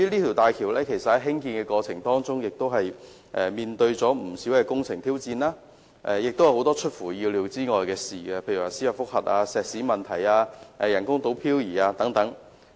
在興建大橋的過程中，出現了不少工程挑戰，亦有很多出乎意料的事情發生，例如司法覆核、石屎問題、人工島飄移等。